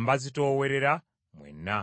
mbazitoowerera mwenna.